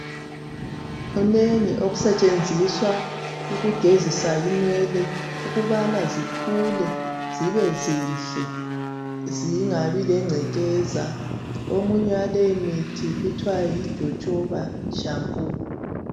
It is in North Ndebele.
Kunengi okusetshenziswa ukugezisa inwele ukubana zikhule zibe zinhle zingabi lengcekeza. Omunye walemithi kuthiwa yijojoba shampoo.